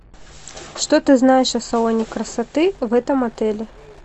что ты знаешь о салоне красоты в этом отеле